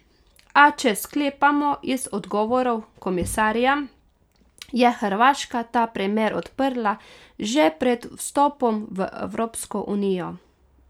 A če sklepamo iz odgovorov komisarja, je Hrvaška ta primer odprla že pred vstopom v Evropsko unijo.